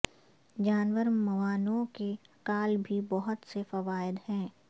جانور معاونوں کی کال بھی بہت سے فوائد ہیں